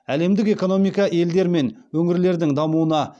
әлемдік экономика елдер мен өңірлердің дамуына